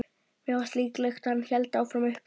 Mér fannst líklegast að hann héldi áfram upp í